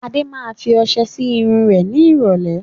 Adé máa fi ọsẹ sì irun rẹ ni ìrọ̀lẹ́